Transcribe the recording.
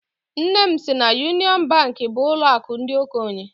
Nne m sị na Yunịọn Bankị bụ ụlọakụ ndị okenye.